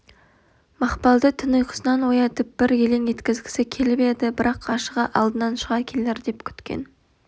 мақпалды түн ұйқысынан оятып бір елең еткізгісі келіп еді бірақ ғашығы алдынан шыға келер деп күткен